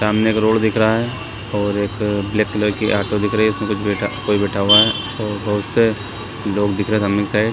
सामने एक रोड दिख रहा है और एक ब्लैक कलर की ऑटो दिख रही हैं उसमे कुछ बैठा कोई बैठा हुआ है और बहोत से लोग दिख रहे हैं सामने के साइड --